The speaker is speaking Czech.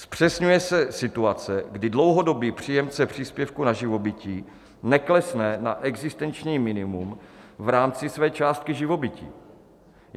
Zpřesňuje se situace, kdy dlouhodobý příjemce příspěvku na živobytí neklesne na existenční minimum v rámci své částky živobytí.